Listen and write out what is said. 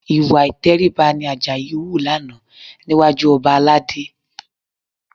Ìwà ìtẹríba ni Àjàyí hù lánàá níwájú ọba Aládé